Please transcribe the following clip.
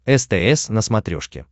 стс на смотрешке